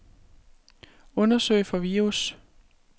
Undersøg for virus.